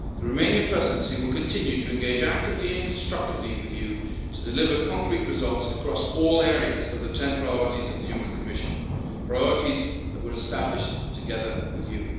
The Romanian Presidency will continue to engage actively and constructively with you to deliver concrete results across all areas of the 10 priorities of the Juncker Commission, priorities that were established together with you.